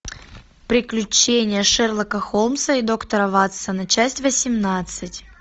приключения шерлока холмса и доктора ватсона часть восемнадцать